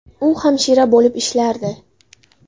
U hamshira bo‘lib ishlardi.